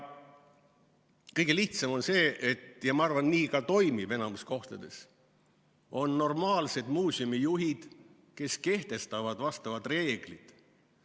Kõige lihtsam on see – ja ma arvan, et nii ka toimib enamikes kohtades –, kui on normaalsed muuseumijuhid, kes kehtestavad vastavad reeglid.